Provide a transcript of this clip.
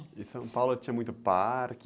Em São Paulo tinha muito parque?